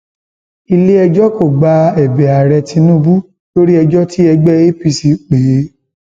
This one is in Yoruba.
iléẹjọ kò gba ẹbẹ ààrẹ tinubu lórí ẹjọ tí ẹgbẹ apc pè é